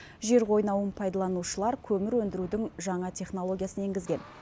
жер қойнауын пайдаланушылар көмір өндірудің жаңа технологиясын енгізген